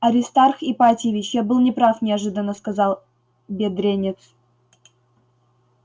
аристарх ипатьевич я был не прав неожиданно сказал бедренец